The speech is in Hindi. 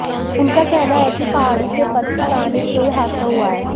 उनका कहना है कि पहाड़ी से पत्थर आने से यह हादसा हुआ है